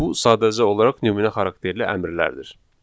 Bu sadəcə olaraq nümunə xarakterli əmrlərdir.